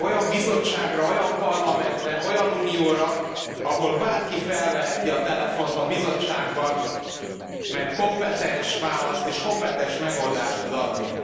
Olyan Bizottságra, olyan Parlamentre, olyan Unióra, ahol bárki felveheti a telefont a Bizottságban, mert kompetens választ és kompetens megoldást tud adni.